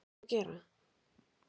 Helga Arnardóttir: Hvað þarf að gera?